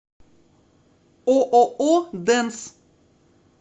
ооо денс